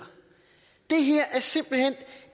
det her er simpelt hen